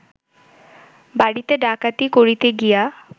বাড়িতে ডাকাতি করিতে গিয়া